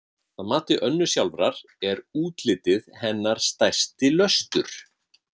Að mati Önnu sjálfrar er útlitið hennar stærsti löstur.